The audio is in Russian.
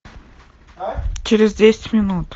через десять минут